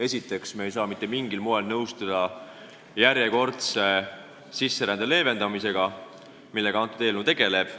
Esiteks, me ei saa mitte mingil moel nõustuda järjekordse sisserände leevendamisega, millega see eelnõu tegeleb.